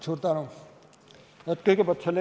Suur tänu!